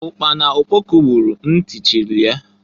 Ukpana okpoko buuru na nti chili ya.